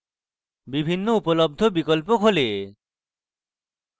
বিভিন্ন উপলব্ধ বিকল্প খোলে